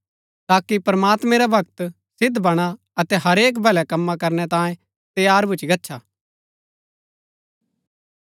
ताकि प्रमात्मैं रा भक्त सिद्व बणा अतै हरेक भलै कमां करनै तांये तैयार भूच्ची गच्छा